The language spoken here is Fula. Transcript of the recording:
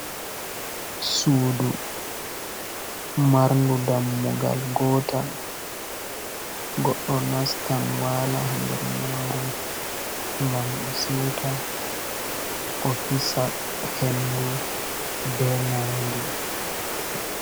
Suudu marndu dammugal gootal. Goɗɗo nastan waala haa nder maaru, ngam o siuta. O hisa hendu be naange.